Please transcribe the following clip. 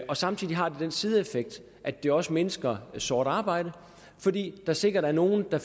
og samtidig har det den sideeffekt at det også mindsker sort arbejde fordi der sikkert er nogle der